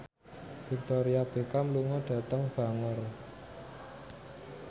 Victoria Beckham lunga dhateng Bangor